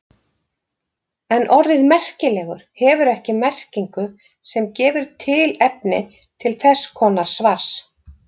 En orðið merkilegur hefur ekki merkingu sem gefur tilefni til þess konar svars.